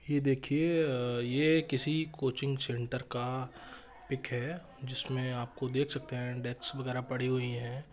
ये देखिये-अ ये किसी कोचिंग सेंटर का पिक है जिसमे आपको देख सकते है डेस्क वगैरा पड़ी हुई है।